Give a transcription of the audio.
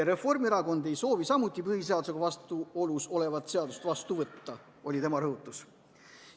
Reformierakond ei soovi samuti põhiseadusega vastuolus olevat seadust vastu võtta, oli tema rõhutus.